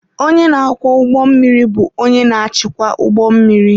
Onye na-akwọ ụgbọ mmiri bụ onye na-achịkwa ụgbọ mmiri.